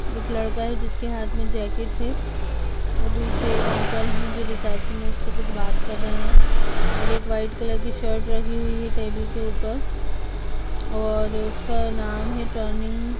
एक लड़का है जिसके हाथ मे जेकेट है ओ पीछे एक अंकल है जो रीसेप्शनिस्ट से कुछ बात कर रहे हैं और एक व्हाइट कलर की शर्ट रखी है टेबुल के ऊपर और उसका नाम है टर्निंग --